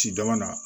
Ci dama na